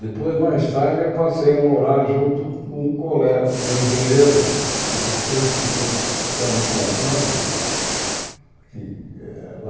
Depois, mais tarde, eu passei a morar junto com um cole com um engenheiro que depois ficou ficando com o padre que.